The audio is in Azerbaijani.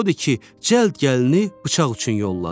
Odur ki, cəld gəlinini bıçaq üçün yolladı.